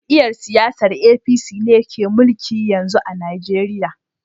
Jam'iyyar siyasan APC ne ke mulki yanzu a Najeriya